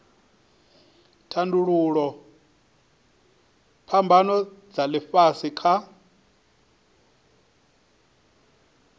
tandululwa phambano dza ifhasi kha